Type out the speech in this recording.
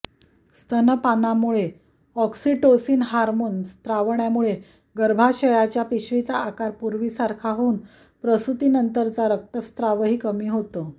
स्तनपानामुळे oxytocin hormone स्त्रवण्यामुळे गर्भाशयाच्या पिशवीचा आकार पूर्वीसारखा होऊन प्रसुतीनंतरचा रक्तस्त्रावही कमी होतो